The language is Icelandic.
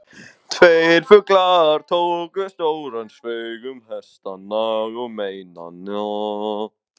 Tveir fuglar tóku stóran sveig um hestana og mennina.